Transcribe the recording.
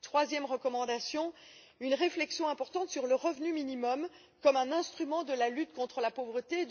La troisième recommandation une réflexion importante sur le revenu minimum comme un instrument de la lutte contre la pauvreté.